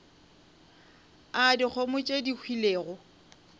a dikgomo tše di hwilego